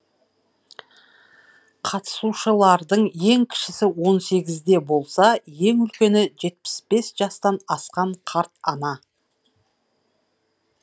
қатысушылардың ең кішісі он сегізде болса ең үлкені жетпіс бес жастан асқан қарт ана